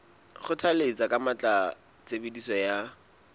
kgothalletsa ka matla tshebediso ya